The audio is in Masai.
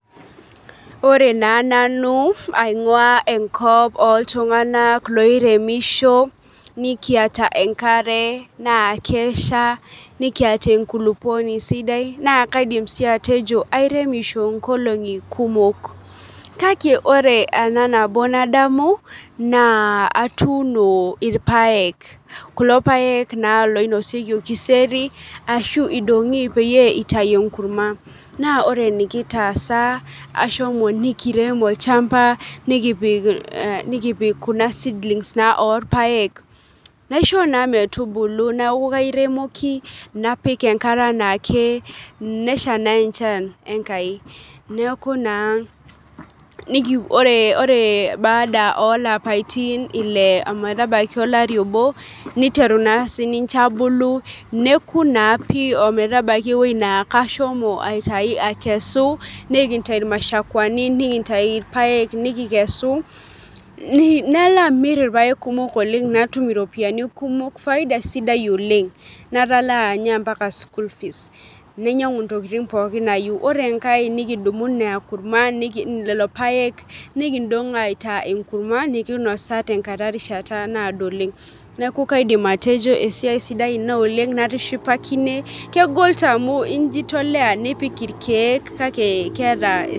Ore naa nanu aing'ua enkop oltung'anak loiremisho nikiata enkare naa kesha nikiata enkulupuoni sidai naa kaidim sii atejo airemisho inkolong'i kumok kake ore ena nabo nadamu naa atuuno irpayek kulo payek naa loinosieki orkiseri ashu idong'i peyie itai enkurma naa ore enikitaasa ashomo nikirem olchamba nikipik eh nikipik kuna seedlings naa orpayek naisho naa metubulu neaku kairemoki napik enkare anaake nesha naa enchan enkai neeku naa niki ore ore baada olapaitin ile ometabaiki olari obo niteru naa sininche abulu neku naa pii ometabaki ewueji naa kashomo aitai akesu ninkintai irmashakwani nikintai irpayek nikikesu ni nalo amirr irpayek kumok oleng natum iropiyiani kumok faida sidai oleng natalaa inye mpaka school fees nainyiang'u intokiting pookin nayieu ore enkae nikidumu ina kurma niki lelo payek nikindong aitaa enkurma nikinosaa tenkata erishata naado oleng neeku kaidim atejo esiai sidai ina oleng natishipakine kegol taa amu injitolea nipik irkeek kake keeta.